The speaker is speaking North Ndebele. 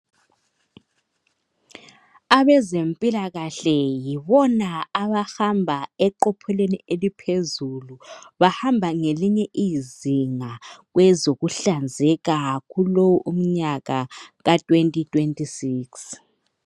Abezempilakahle yibona abahamba eqophuleni eliphezulu. Bahamba ngelinye izinga kwezokuhlanzeka kulowu umnyaka ka2026.